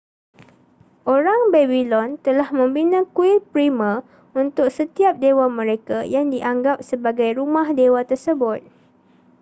orang babylon telah membina kuil primer untuk setiap dewa mereka yang dianggap sebagai rumah dewa tersebut